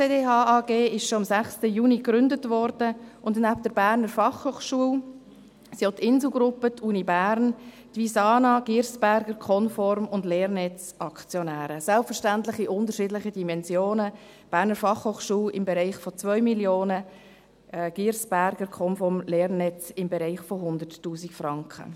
Die SCDH AG wurde bereits am 6. Juni gegründet, und neben der BFH sind auch die Insel Gruppe, die Universität Bern, die Visana AG, die Girsberger AG und die LerNetz AG Aktionäre, selbstverständlich in unterschiedlichen Dimensionen: die BFH im Bereich von 2 Mio. Franken, die Girsberger AG, die Komform GmbH, die LerNetz AG im Bereich von 100 000 Franken.